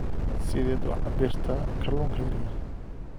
Sideed u cabbirtaa kalluunka yaryar?